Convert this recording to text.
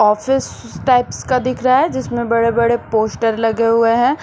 Office types का दिख रहा है जिसमें बड़े बड़े पोस्टर लगे हुए हैं।